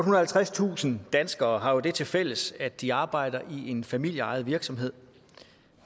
og halvtredstusind danskere har det tilfælles at de arbejder i en familieejet virksomhed